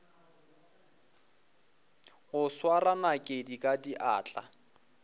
go swara nakedi ka diatla